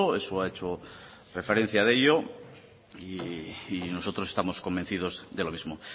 eso ha hecho referencia de ello y nosotros estamos convencidos de lo mismo